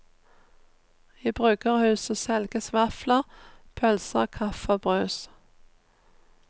I bryggerhuset selges vafler, pølser, kaffe og brus.